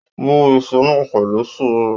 Wú Isu náà pẹ̀lú sùúrù!